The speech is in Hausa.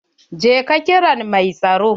Je ka kira mai tsaro.